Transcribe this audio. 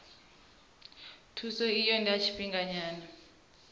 thuso iyi ndi ya tshifhinganyana